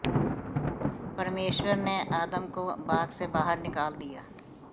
परमेश्वर ने आदम को बाग से बाहर निकाल दिया